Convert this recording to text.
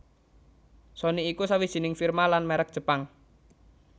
Sony iku sawijining firma lan mèrek Jepang